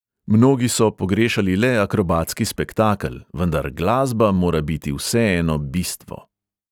Mnogi so pogrešali le akrobatski spektakel, vendar glasba mora biti vseeno bistvo.